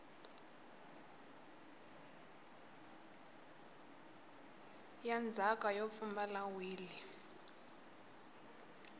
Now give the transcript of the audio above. ya ndzhaka yo pfumala wili